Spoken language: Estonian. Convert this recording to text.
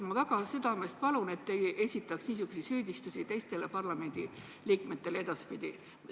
Ma väga südamest palun, et te ei esitaks edasipidi niisuguseid süüdistusi teistele parlamendiliikmetele!